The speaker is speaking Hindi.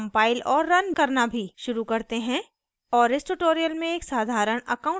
शुरू करते हैं और इस tutorial में एक साधारण account balance application बनाते हैं